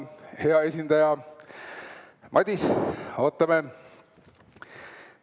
Hea esindaja Madis, ootame!